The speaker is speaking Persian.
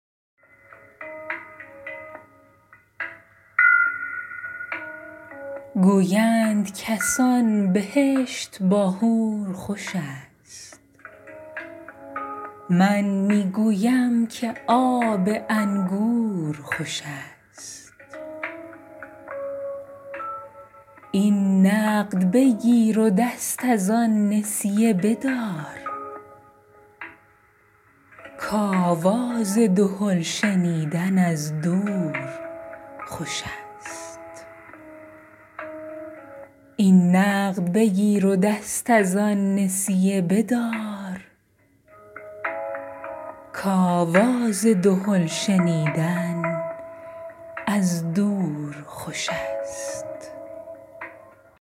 گویند کسان بهشت با حور خوش است من می گویم که آب انگور خوش است این نقد بگیر و دست از آن نسیه بدار که آواز دهل شنیدن از دور خوش است